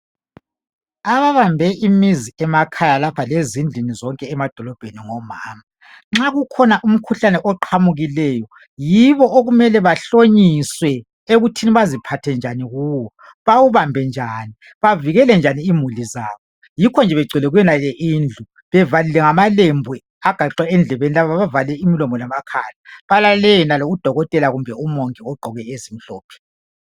ababambe imizi emakhaya lapha lezindlini zonke emadolobheni ngomama nxa kukhona umkhuhlane oqhamukileyo yibo okumele bahlonyiswe ekuthini baziphathe njani kuwo bawubambe njani bavikele njani imuli zabo yikho nje begcwele kuyonale indlu bevalile ngamalembu agaxwe endlebeni lapha bavale imlomo lamakhala balalele yenalo udokotela kumbe umongi ogqoke ezimhlophe